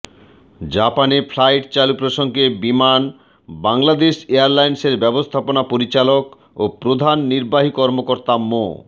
জাপানে ফ্লাইট চালু প্রসঙ্গে বিমান বাংলাদেশ এয়ারলাইন্সের ব্যবস্থাপনা পরিচালক ও প্রধান নির্বাহী কর্মকর্তা মো